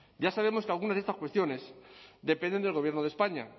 ya sabemos que algunas de estas cuestiones dependen del gobierno de españa